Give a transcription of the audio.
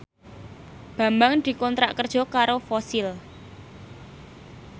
Bambang dikontrak kerja karo Fossil